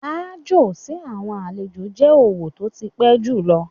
Aájò sí àwọn àlejò jẹ́ òwò tó ti pẹ́ jùlọ.